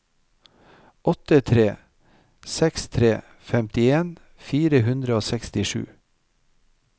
åtte tre seks tre femtien fire hundre og sekstisju